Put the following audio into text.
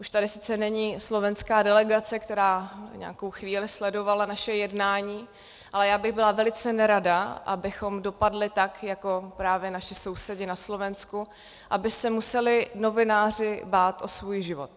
Už tady sice není slovenská delegace, která nějakou chvíli sledovala naše jednání, ale já bych byla velice nerada, abychom dopadli tak jako právě naši sousedi na Slovensku, aby se museli novináři bát o svůj život.